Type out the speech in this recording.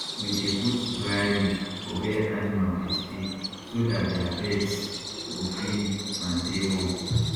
we dey put dry leave for where animal dey stay so dat their beds go clean and dey warm